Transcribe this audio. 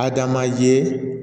A dan manje